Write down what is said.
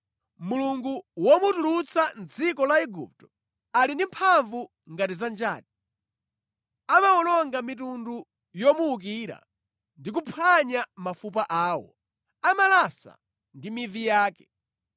“Mulungu womutulutsa mʼdziko la Igupto ali ndi mphamvu ngati za njati. Amawononga mitundu yomuwukira ndi kuphwanya mafupa awo, amalasa ndi mivi yake.